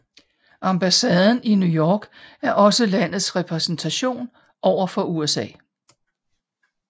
Ambassaden i New York er også landets repræsentation over for USA